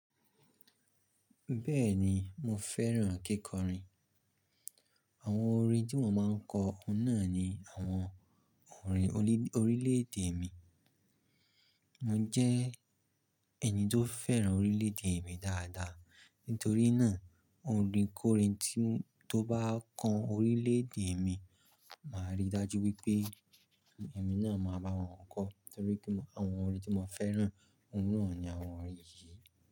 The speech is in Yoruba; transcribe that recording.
Bẹ́ẹ̀ni, mo fẹ́ràn kíkọrin. Àwọn orin tí mò máa ń kọ, oun náà ni àwọn orin orílẹ̀-èdè mi. Mo jẹ́ ẹni tó fẹ́ràn orílẹ̀-èdè mi dáadáa. Nítorí náà, orin kórin tí tó bá kan orílẹ̀-èdè mi, màá rí i dájú wípé èmi náà máa bá wọn kọ. Torí pé àwọn orin tí mo fẹ́ràn, òun náà ni àwọn orin yìí.